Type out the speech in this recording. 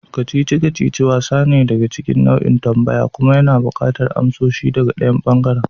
kacici-kacici wasa ne da ke cikin nau'in tambaya kuma yana buƙatar amsoshi daga ɗayan ɓangaren.